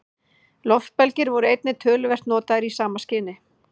Loftbelgir voru einnig töluvert notaðir í sama skyni.